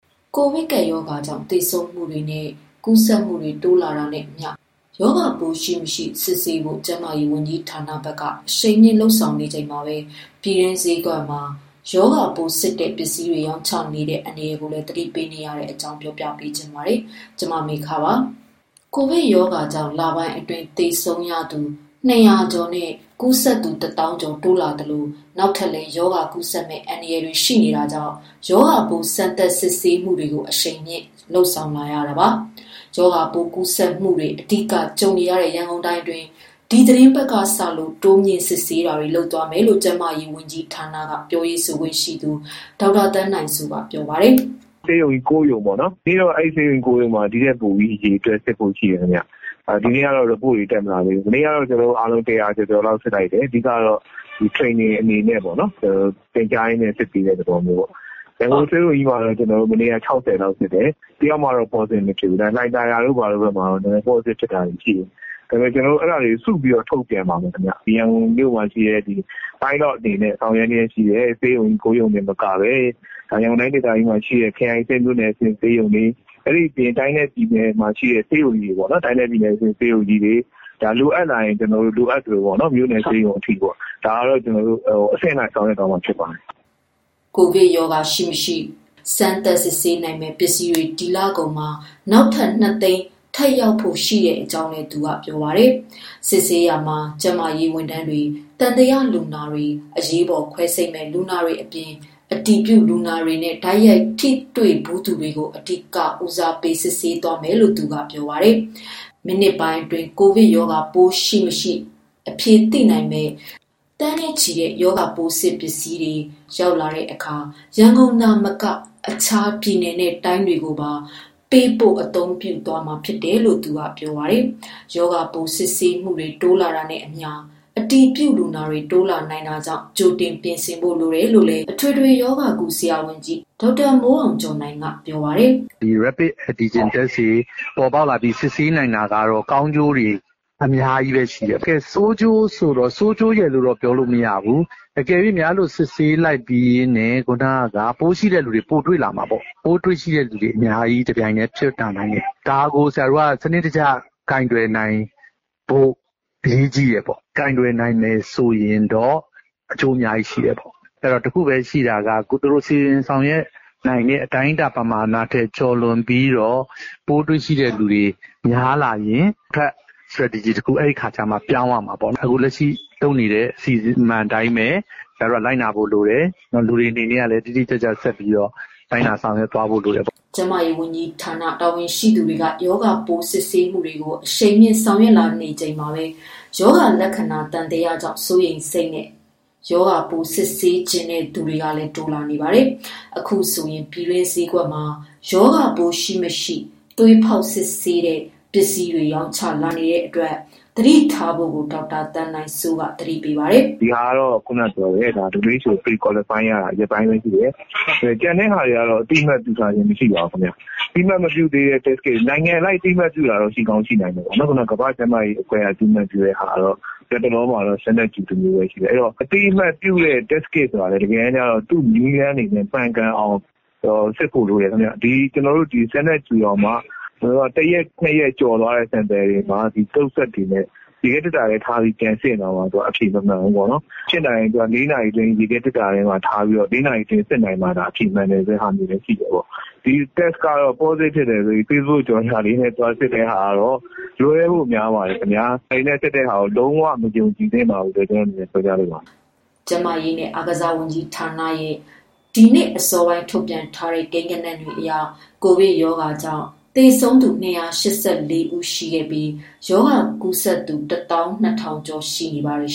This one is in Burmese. ကိုဗစ်ကပ်ရောဂါကြောင့် သေဆုံးမှုတွေနဲ့ ကူးစက်မှုတွေ တိုးလာနေတာနဲ့အမျှ ရောဂါပိုးရှိ၊ မရှိ စစ်ဆေးဖို့ ကျန်းမာရေးဝန်ကြီးဌာနက အရှိန်မြင့် ဆောင်ရွက်နေချိန်မှာပဲ ပြည်တွင်းဈေးကွက်မှာ ရောဂါပိုးစစ်တဲ့ ပစ္စည်းတွေ ရောင်းချနေတဲ့ အန္တရာယ်ကိုလည်း သတိပေးနေတဲ့အကြောင်း တင်ပြချင်ပါတယ်။ ဗွီအိုအေမြန်မာပိုင်းသတင်းထောက် မမေခက ပြောပြမှာပါ။ ကိုဗစ်ကပ်ရောဂါကြောင့် လပိုင်းအတွင်း သေဆုံးသူ ၂၀၀ ကျော်နဲ့ ကူးစက်သူ ၁ သောင်းကျော် တိုးလာသလို နောက်ထပ်လည်း ရောဂါကူးစက်မယ့် အန္တရာယ် ရှိနေတာကြောင့် ရောဂါပိုး စမ်းသပ်စစ်ဆေးမှုတွေကို အရှိန်မြှင့်ဆောင်ရွက်လာနေတာပါ။ ရောဂါပိုး ကူးစက်မှုတွေ အဓိကကြုံနေရတဲ့ ရန်ကုန်တိုင်းအတွင်း ဒီသီတင်းပတ်ကစလို့ တိုးမြှင့်စစ်ဆေးပေးနေကြောင်းလည်း ကျန်းမာရေးဝန်ကြီးဌာန ပြောရေးဆိုခွင့်ရှိသူ ဒေါက်တာသန်းနိုင်စိုးက ပြောပါတယ်။ “ဆေးရုံ ၉ရုံစစ်တယ်။ ဒီနေ့တော့ အဲဒီ ဆေးရုံကြီး ၉ ရုံမှာ အရေအတွက်ပိုဖို့ရှိတယ် ခင်ဗျ။ မနေ့ကတော့ Report တွေ တက်မလာသေးဘူး။ မနေ့ကတော့ကျနော်တို့အားလုံး ၁၀၀ကျော်ကျော်လောက် စစ်လိုက်တယ်။ အဓိကတော့ Training အနေနဲ့ပေါ့နော် သင်ကြားရင်းနဲ့ စစ်ပေးတဲ့သဘောပေါ့နော်။ရန်ကုန်ဆေးရုံကြီးမှာတော့ မနေ့က ၆၀လောက်စစ်တယ်။ တယောက်မှတော့ positive မဖြစ်ဘူး ဒါပေမယ့် လှိုင်သာယာမှာတော့ တချို့ positive ဖြစ်တာတွေ ရှိတယ်။ အဲဒါတွေကို ကျနော်တို့ စုပြီးတော့ ထုတ်ပြန်ပါမယ်ခင်ဗျ။ ရန်ကုန်မှာရှိတဲ့ pilot အနေနဲ့ ဆောင်ရွက်လျက်ရှိတဲ့ ဆေးရုံ ၉ရုံမကဘဲ ရန်ကုန်တိုင်း ဒေသကြီးမှာရှိတဲ့ ခရိုင်အဆင့်မြို့နယ် အဆင့် ဆေးရုံတွေ၊ တိုင်းနဲ့ ပြည်နယ်မှာရှိတဲ့ ဆေးရုံတွေကို လိုအပ်လာရင် လိုအပ်သလို မြို့နယ်ဆေးရုံအထိပေါ့နော် ဒါကိုတော့ ကျနော်တို့ အဆင့်လိုက် ဆောင်ရွက်သွားမှာ ဖြစ်ပါတယ်။” ကိုဗစ်ရောဂါ ရှိမရှိကို စစ်ဆေးနိုင်မယ့် ပစ္စည်းတွေ ဒီလကုန်မှာ နောက်ထပ် ၂သိန်းထပ်ရဖို့ရှိနေကြောင်းလည်း ပြောပါတယ်။ စစ်ဆေးရာမှာတော့ ကျန်းမာရေးဝန်ထမ်း၊ သံသယလူနာ၊ အရေးပေါ် ခွဲစိတ်မယ့်လူနာတွေအပြင်၊ အတည်ပြုလူနာတွေနဲ့ တိုက်ရိုက်ထိတွေ့ဖူးသူတွေကို အဓိက ဦးစားပေး စစ်ဆေးသွားမယ်လို့ သူကပြောပါတယ်။ မိနစ်ပိုင်းအတွင်း ကိုဗစ်ပိုးရှိမရှိ အဖြေသိနိုင်မယ့် သိန်းနဲ့ချီတဲ့ test kit ပစ္စည်းတွေ ရောက်လာတဲ့အခါ ရန်ကုန်သာမက အခြားတိုင်းနဲ့ပြည်နယ်တွေကိုပါ ပေးပို့အသုံးပြုသွားမှာ ဖြစ်တယ်လို့လည်း ပြောပါတယ်။ ရောဂါပိုး စစ်ဆေးမှုတွေ တိုးလာတာနဲ့အမျှ အတည်ပြုလူနာတွေ တိုးလာနိုင်တာကြောင့် ကြိုတင်ပြင်ဆင်ဖို့ လိုတယ်လို့လည်း အထွေထွေရောဂါကု ဆရာဝန်ကြီးဒေါက်တာမိုးအောင်ကျော်နိုင်က ပြောပါတယ်။ “ဒီ Rapid Antigen test တွေပေါ်ပေါက်လာပြီး စစ်ဆေးနိုင်တာကတော့ ကောင်းကျိုး တွေအများကြီးပဲရှိတယ်။ ဆိုးကျိုးဆိုတော့ ဆိုးကျိုးရယ်တော့ပြောမရဘူး။ အကယ်၍များ အဲလို စစ်ဆေးလိုက်ပြီးရင် ခုနက ပိုးရှိတဲ့လူတွေ ပိုတွေ့လာမှာပေါ့နော် ။ ပိုးတွေ့တဲ့လူတွေ တပြိုင်တည်း အများကြီးဖြစ်လာနိုင်တယ် ဒါကို ဆရာတို့ စနစ်တကျ ကိုင်တွယ်နိုင်ဖို့ အရေးကြီးတယ်။ ကိုင်တွယ်နိုင်မယ်ဆိုရင်တော့ အကျိုးအများကြီးရှိတယ်။ ဆိုတော့ တခုပဲ ရှိတာက သူတို့ စီစဉ်ဆောင်ရွက်နိုင်မယ့်အတိုင်းအတာ ပမာဏထက် ကျော်လွန်ပြီးတော့ ပိုးတွေ့တဲ့လူတွေ များလာရင်အတွက် Stretegy တခု အဲဒီအခါကျမှ ပြောင်းရမှာပေါ့နော်။ အခုလက်ရှိ လုပ်နေတဲ့ အစီအမံအတိုင်းပဲ ဆရာတို့ လိုက်နာဖို့လိုတယ်။ နောက်တခု လူတွေအနေနနဲ့ကလည်း တိတိကျကျ ဆက်ပြီးတော့လိုက်နာဆောင်ရွက်သွားဖို့ လိုတယ်ပေါ့။” ကျန်းမာရေးဝန်ကြီးဌာန တာဝန်ရှိသူတွေက ရောဂါပိုး စစ်ဆေးမှုတွေကို အရှိန်မြှင့် ဆောင်ရွက်လာနေချိန်မှာပဲ ရောဂါလက္ခဏာ သံသယကြောင့် စိုးရိမ်စိတ်နဲ့ စစ်ဆေးချင်တဲ့သူတွေလည်း တိုးလာနေပါတယ်။ အခုဆိုရင် ပြည်တွင်း ဆေးဈေးကွက်မွာ ရောဂါပိုး ရှိ မရှိသွေးဖောက်စစ်ဆေးတဲ့ ပစ္စည်းတွေ ရောင်းချလာနေတဲ့အတွက် သတိထားဖို့လည်း ဒေါက်တာ သန်းနိုင်စိုးက သတိပေးပါတယ်။ “ဒီ Test kit ကိုတော့ ကမ္ဘာကျန်းမာရေးအဖွဲ့က အသိမှတ်ပြုတာ ရက်ပိုင်းဘဲရှိသေးတယ်။ ကျန်တာတွေကို အသိမှတ် ပြုထားခြင်း မရှိပါဘူး။ အသိအမတ်မပြုတဲ့ Test Kit တွေ နိုင်ငံအလိုက်အသိမှတ်ပြုတာရှိချင်ရှိမယ်။ နောက်တခါ ကမ္ဘာကျန်းမာရေးအဖွဲ့က အသိမှတ်ပြုတာ ကတော့ လက်တလောမှာ Standard Q တမျိုးပဲရှိသေးတယ်။ အသိအမှတ်ပြုတဲ့ Test Kit ဆိုတာ တကယ်တမ်းကျတော့ သူ့နည်းလမ်းတွေနဲ့ မှန်ကန်အောင်စစ်ဖို့လိုတယ်ခင်ဗျ။ ဒီ ကျနော်တို့ Standard Q တောင်မှ တရက် ၂ ရက်ကျော်သွားတဲ့ sample တွေမှာ ရေခဲသေတ္တာထဲထားပြီး ပြန်စစ်ရင်တောင်မှ အဖြေ မမှန်ဘူးပေါ့နော်။ ဖြစ်နိုင်ရင် ရေခဲသေတ္တာမှာ ထားပြီးတော့ ၄ နာရီအတွင်း စစ်နိုင်မှသာ အဖြေမှန်တာမျိုးလည်းရှိတယ်ပေါ့။ ဒီလိုမျိုး ဒီ Test ကတော့ ပေါ့စတစ်ဖြစ်တယ်ဆိုပြီး ဖေ့ဘုတ်ကြော်ငြာလေးနဲ့ သွားပြီးတော့ စစ်တာကတော့ လွဲဖို့များပါတယ်။ ဒါတွေနဲ့စစ်တာ လုံးဝမယုံကြည်သင့်ဘူးလို့ ပြောပြချင်တယ်။” ကျန်းမာရေးနဲ့ အားကစားဝန်ကြီးဌာနရဲ့ ဒီနေ့အစောပိုင်းအထိ ထုတ်ပြန်ထားတဲ့ ကိန်းဂဏန်းတွေအရ ကိုဗစ်ကပ်ရောဂါကြောင့် သေဆုံးသူ ၂၈၄ ဦးနဲ့ ရောဂါကူးစက်သူ ၁၂၀၀၀ကျော် ရှိနေပါတယ်